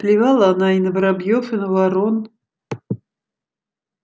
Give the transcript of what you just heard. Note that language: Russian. плевала она и на воробьёв и на ворон